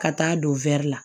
Ka taa don la